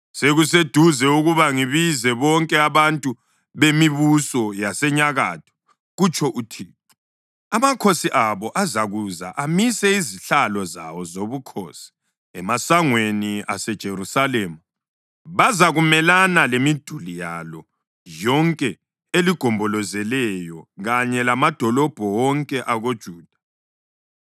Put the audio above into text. Sekuseduze ukuba ngibize bonke abantu bemibuso yasenyakatho,” kutsho uThixo. “Amakhosi abo azakuza amise izihlalo zawo zobukhosi emasangweni aseJerusalema; bazakumelana lemiduli yalo yonke eligombolozeleyo kanye lamadolobho wonke akoJuda.